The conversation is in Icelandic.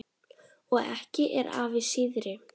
Og ekki er afi síðri.